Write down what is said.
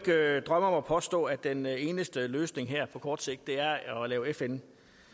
drømme om at påstå at den eneste løsning her på kort sigt er at lave fn